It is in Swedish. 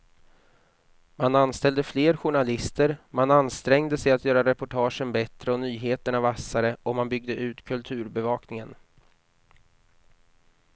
Man anställde fler journalister, man ansträngde sig att göra reportagen bättre och nyheterna vassare och man byggde ut kulturbevakningen.